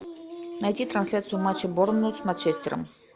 найти трансляцию матча борнмут с манчестером